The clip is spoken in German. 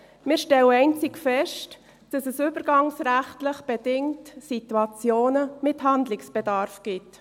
Wir stellen einzig fest, dass es übergangsrechtlich bedingt Situationen mit Handlungsbedarf gibt.